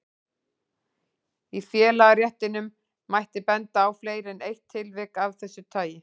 Í félagaréttinum mætti benda á fleiri en eitt tilvik af þessu tagi.